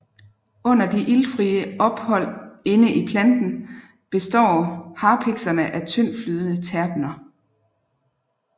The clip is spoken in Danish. Under de iltfrie forhold inde i planten består harpikserne af tyndtflydende terpener